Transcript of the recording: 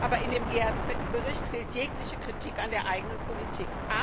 Aber in dem Bericht fehlt jegliche Kritik an der eigenen Politik.